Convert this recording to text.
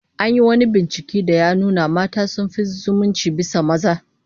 An yi wani binciken da ya nuna mata sun fi zumunci bisa maza